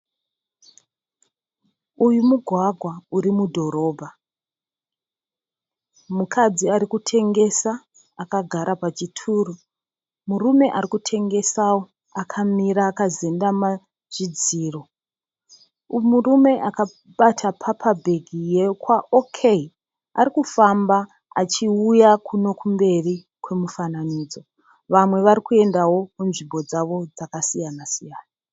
Uyu mugwagwa uri mudhorobha. Mukadzi ari kutengesa akagara pachituro, murume ari kutengesawo akamira akazendama chidziro. Murume akabata pepabhegi yekwa 'OK' arikufamba achiuya kuno kumberi kwemufananidzo. Vamwe vari kuendawo kunzvimbo dzavo dzakasiyana siyana.